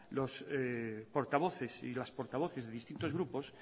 los portavoces y las portavoces de distintos grupos